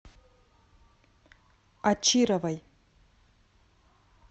очировой